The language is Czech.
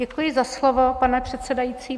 Děkuji za slovo, pane předsedající.